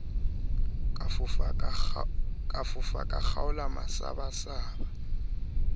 ka fofa a kgaola masabasaba